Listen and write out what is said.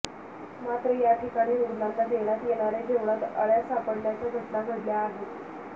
मात्र या ठिकाणी रुग्णांना देण्यात येणाऱ्या जेवणात अळ्या सापडल्याचा घटना घडल्या आहेत